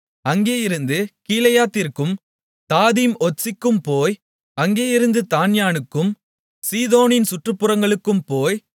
அங்கேயிருந்து கீலேயாத்திற்கும் தாதீம்ஒத்சிக்கும் போய் அங்கேயிருந்து தாண்யானுக்கும் சீதோனின் சுற்றுப்புறங்களுக்கும் போய்